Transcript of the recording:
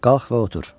Qalx və otur.